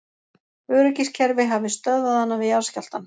Öryggiskerfi hafi stöðvað hana við jarðskjálftann